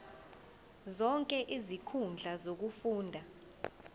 zonke izinkundla zokufunda